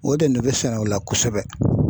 O de bɛ sɛnɛ o la kosɛbɛ.